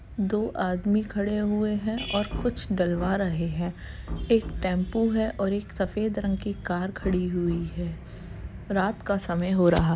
दो आदमी खड़े हुए हैं और कुछ डलवा रहे हैं। एक टेम्पो है और एक सफ़ेद रंग की कार खड़ी हुई है। रात का समय हो रहा --